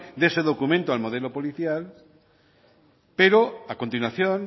de ese documento al modelo policial pero a continuación